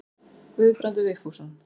Guðbrandur Vigfússon.